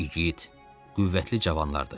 İgid, qüvvətli cavanlardır.